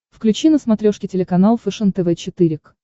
включи на смотрешке телеканал фэшен тв четыре к